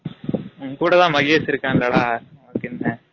உன்கூட தான் மகெஷ் இருகான்ல டா அதுக்கு என்ன